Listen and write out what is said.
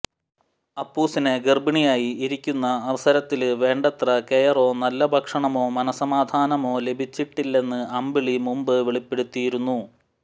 അപ്പൂസിനെ ഗര്ഭിണിയായി ഇരിക്കുന്ന അവസരത്തില് വേണ്ടത്ര കെയറോ നല്ല ഭക്ഷണമൊ മനസമാധാനമോ ലഭിച്ചിട്ടില്ലെന്ന് അമ്പിളി മുമ്പ് വെളിപ്പെടുത്തിയിരുന്നു